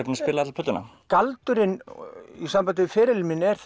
búinn að spila alla plötuna galdurinn í sambandi við ferilinn minn er